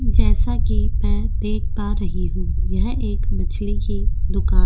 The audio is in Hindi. जैसा की मैं देख पा रही हूँ यह एक मछली की दूकान --